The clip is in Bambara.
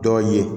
Dɔw ye